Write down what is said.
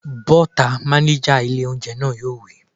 Bọ́ta!, mánéjà ilé óúnjẹ náà yóò wí